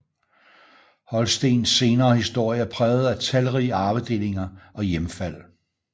Holstens senere historie er præget af talrige arvedelinger og hjemfald